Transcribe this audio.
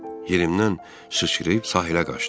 Yerimdən sıçrayıb sahilə qaçdım.